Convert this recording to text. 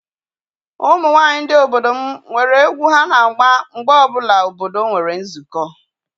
Ụmụ nwaanyị obodo m nwere egwu ha na-agba mgbe ọbụla obodo nwere nzukọ.